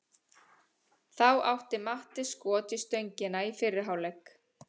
Þá átti Matti skot í stöngina í fyrri hálfleik.